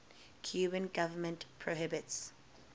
cuban government prohibits